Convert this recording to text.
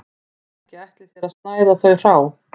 Ekki ætlið þér að snæða þau hrá